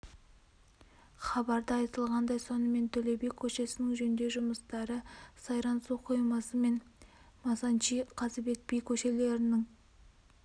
хабарда айтылғандай сонымен төле би көшесінің жөндеу жұмыстары сайран су қоймасы мен масанчи қазыбек би көшелерінің